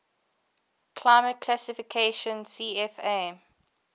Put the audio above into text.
climate classification cfa